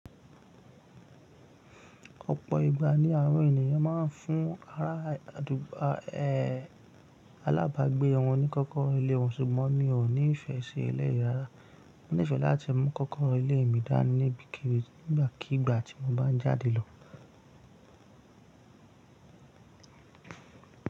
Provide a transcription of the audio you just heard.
Ọ̀pọ̀ ìgbà ni àwọn ènìyàn máa ń fún ará àdùgbà, ẹh, alábàágbé wọn ní kọ́kọ́rọ́ ilé wọn, ṣùgbọ́n mi ò ní ìfẹ́ ṣe eléyìí rárá. Mo nífẹ̀ẹ́ láti mú kọ́kọ́rọ́ ilé mi dání ni ibi kíbì nígbàkigbà tí mo bá ń jáde lọ.